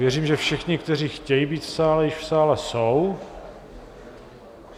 Věřím, že všichni, kteří chtějí být v sále, již v sále jsou.